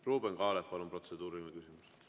Ruuben Kaalep, palun, protseduuriline küsimus!